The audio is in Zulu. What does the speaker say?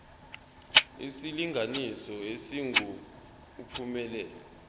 isilinganiso esingu uphumelele